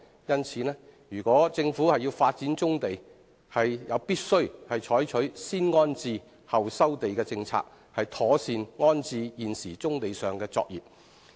因此，如果政府要發展棕地，便必須採取"先安置後收地"的政策，妥善安置現時棕地上的作業。